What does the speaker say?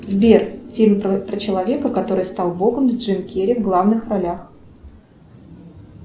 сбер фильм про человека который стал богом с джимом керри в главных ролях